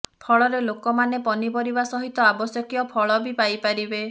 ଫଳରେ ଲୋକମାନେ ପନିପରିବା ସହିତ ଆବଶ୍ୟକୀୟ ଫଳ ବି ପାଇପାରିବେ